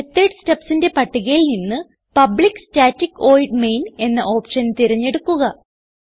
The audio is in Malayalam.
മെത്തോട് stubsന്റെ പട്ടികയിൽ നിന്ന് പബ്ലിക്ക് സ്റ്റാറ്റിക് വോയിഡ് മെയിൻ എന്ന ഓപ്ഷൻ തിരഞ്ഞെടുക്കുക